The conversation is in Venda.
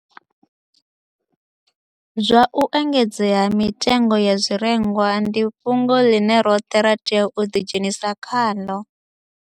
Zwa u engedzea ha mitengo ya zwirengwa ndi fhungo ḽine roṱhe ra tea u ḓidzhenisa khaḽo